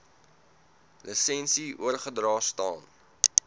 lisensie oorgedra staan